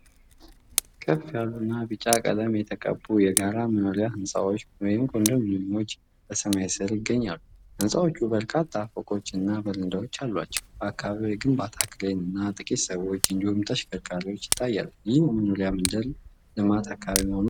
ከፍ ያሉና ቢጫ ቀለም የተቀቡ የጋራ መኖሪያ ሕንጻዎች (ኮንዶሚኒየሞች) በሰማይ ስር ይገኛሉ። ህንጻዎቹ በርካታ ፎቆችና በረንዳዎች አሏቸው። በአካባቢው የግንባታ ክሬን እና ጥቂት ሰዎች እንዲሁም ተሽከርካሪዎች ይታያሉ፤ ይህም የመኖሪያ መንደር ልማት አካባቢ መሆኑን ያሳያል።